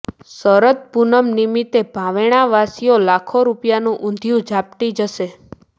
શરદ પૂનમ નિમિત્તે ભાવેણાવાસીઓ લાખો રૃપિયાનું ઉંધિયુ ઝાપટી જશે